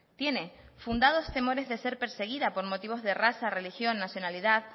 tiene fundados temores de ser perseguida por motivos de raza religión nacionalidad